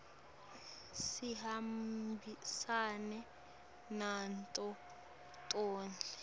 sihambisene nato tonkhe